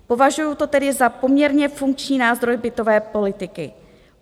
Považuju to tedy za poměrně funkční nástroj bytové politiky.